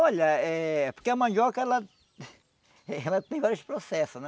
Olha, é... porque a mandioca, ela ela tem vários processos, né?